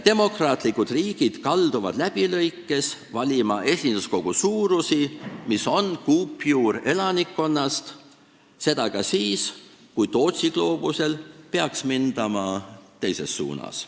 Demokraatlikud riigid kalduvad läbilõikes valima esinduskogu suurusi, mis on kuupjuur elanike arvust – seda ka siis, kui Tootsi gloobusel peaks mindama teises suunas.